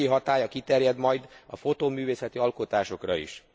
tárgyi hatálya kiterjed majd a fotóművészeti alkotásokra is.